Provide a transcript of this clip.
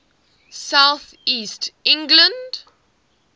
south east england